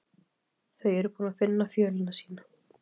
Þau eru búin að finna fjölina sína.